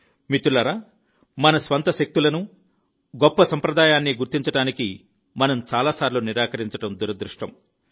మిత్రులారా మన స్వంత శక్తులను గొప్ప సంప్రదాయాన్ని గుర్తించడానికి మనం చాలాసార్లు నిరాకరించడం దురదృష్టం